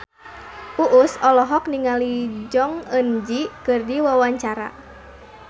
Uus olohok ningali Jong Eun Ji keur diwawancara